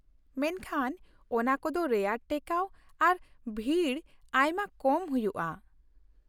ᱢᱮᱱᱠᱷᱟᱱ ᱚᱱᱟ ᱠᱚᱫᱚ ᱨᱮᱭᱟᱨ ᱴᱮᱠᱟᱣ ᱟᱨ ᱵᱷᱤᱲ ᱟᱭᱢᱟ ᱠᱚᱢ ᱦᱩᱭᱩᱜᱼᱟ ᱾